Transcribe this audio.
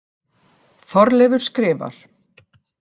Þorleifur skrifar: